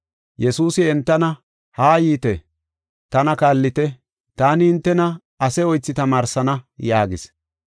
Yesuusi entana, “Haa yiite; tana kaallite; taani hintena ase oythi tamaarsana” yaagis.